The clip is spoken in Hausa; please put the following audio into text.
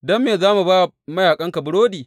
Don me za mu ba wa mayaƙanka burodi?